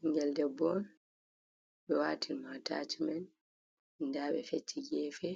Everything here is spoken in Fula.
Ɓigel debbo ɓe watin mo atachimen. Nda ɓe fecci gefe